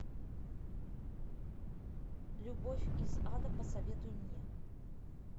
любовь из ада посоветуй мне